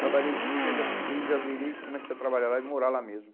Trabalhei de dia, já fiquei, já virei, comecei a trabalhar lá e morar lá mesmo.